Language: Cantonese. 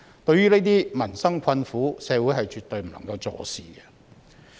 對於這些民生困苦，社會絕對不能坐視。